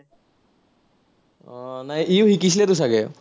আহ নাই ইও শিকিছিলেতো চাগে।